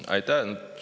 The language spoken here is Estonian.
Aitäh!